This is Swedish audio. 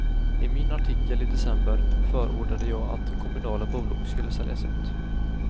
I min artikel i december förordade jag att kommunala bolag skulle säljas ut.